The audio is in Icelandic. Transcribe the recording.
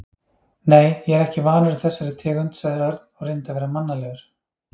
Nei, ég er ekki vanur þessari tegund sagði Örn og reyndi að vera mannalegur.